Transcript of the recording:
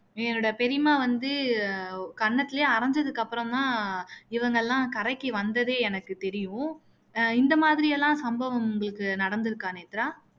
என்னோட பெரியம்மா வந்து கண்ணத்துலயே அரைஞ்சதுக்கு அப்பறம் தான் இவங்க எல்லாம் கரைக்கு வந்ததே எனக்கு தெரியும் இந்த மாதிரி எல்லாம் சம்பவம் உங்களுக்கு நடந்துருக்கா நேத்ரா